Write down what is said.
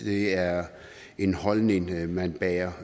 det er en holdning man bærer